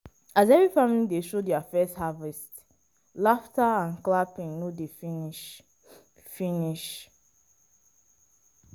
as every family dey show their first harvest laughter and clapping no dey finish. finish.